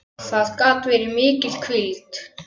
Það gat verið mikil hvíld.